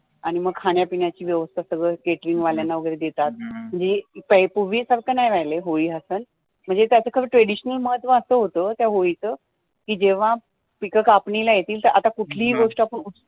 आणी मग खाण्या-पिण्याची व्यवस्था सगळं Catering वाल्यांना वगैरे देतात म्हणजे पुर्वी सारखं नाही राहिलय होळी हा सण म्हणजे काय ते खरं traditional महत्व असं होतं त्या होळीचा की जेव्हा पीकं कापणीला येतिल आता कुठली ही गोष्ट आपण